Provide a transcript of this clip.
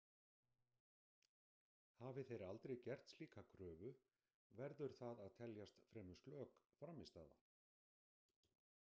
Hafi þeir aldrei gert slíka kröfu, verður það að teljast fremur slök frammistaða.